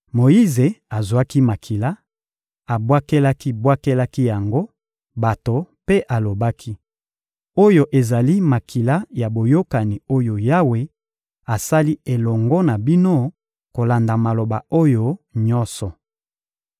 Moyize azwaki makila, abwakelaki-bwakelaki yango bato mpe alobaki: — Oyo ezali makila ya boyokani oyo Yawe asali elongo na bino kolanda maloba oyo nyonso.